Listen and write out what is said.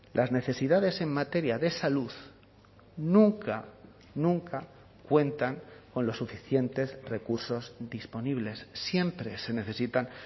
las necesidades en materia de salud nunca nunca cuentan con los suficientes recursos disponibles siempre se necesitan